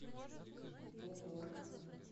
богор